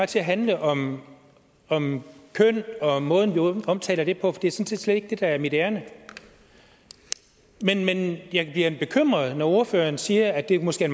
til at handle om om køn og måden vi omtaler det på for det er sådan set slet ikke det der er mit ærinde men jeg bliver bekymret når ordføreren siger at det måske